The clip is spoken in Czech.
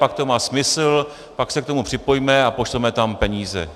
Pak to má smysl, pak se k tomu připojíme a pošleme tam peníze.